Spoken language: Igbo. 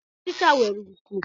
Ọchicha nwere nkụ